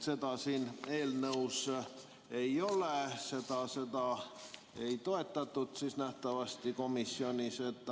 Seda siin eelnõus ei ole, seda komisjonis nähtavasti ei toetatud.